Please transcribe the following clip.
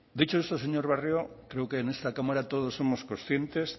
dicho esto señor barrio creo que en esta cámara todos y todas somos conscientes